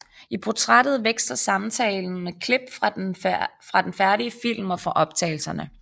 I portrættet veksler samtalen med klip fra den færdige film og fra optagelserne